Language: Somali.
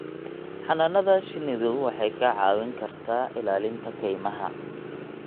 Xannaanada shinnidu waxay kaa caawin kartaa ilaalinta kaymaha.